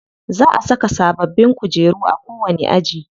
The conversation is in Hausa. Za a saka sababbin kujeru a kowani aji.